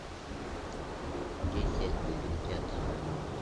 десять негритят